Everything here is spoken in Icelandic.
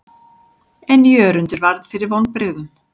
En Jörundur varð fyrir vonbrigðum.